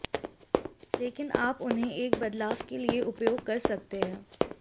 लेकिन आप उन्हें एक बदलाव के लिए उपयोग कर सकते हैं